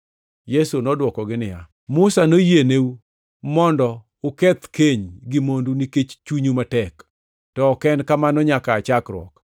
Yesu nodwokogi niya, “Musa noyieneu mondo uketh keny gi mondu nikech chunyu matek. To ok ne en kamano nyaka aa chakruok.